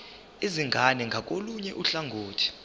izingane ngakolunye uhlangothi